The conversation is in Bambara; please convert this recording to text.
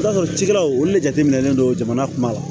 I b'a sɔrɔ cikɛlaw olu de jateminɛnen don jamana kunba